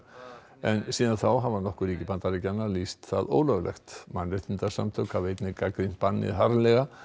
en síðan þá hafa nokkur ríki Bandaríkjanna lýst það ólöglegt mannréttindasamtök hafa einnig gagnrýnt bannið harðlega